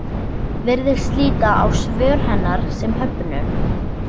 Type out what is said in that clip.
Virðist líta á svör hennar sem höfnun.